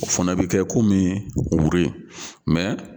O fana bɛ kɛ komi wuri